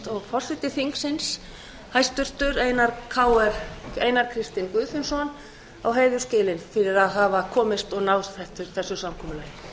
og hæstvirtur forseti þingsins einar kristinn guðfinnsson á heiður skilinn fyrir að hafa náð þessu samkomulagi